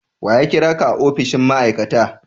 Wa ya kira ka a opishin ma'aikata?